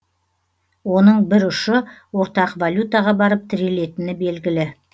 оның бір ұшы ортақ валютаға барып тірелетіні белгілі